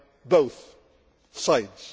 both sides.